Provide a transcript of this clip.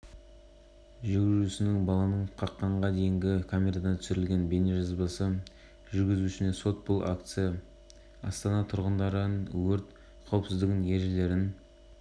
балалар құтқару қызметтерінің телефон нөмірлері мен төтенше жағдайлардың алдын алу сипатындағы өлең жолдары бар картон